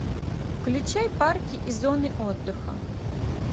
включай парки и зоны отдыха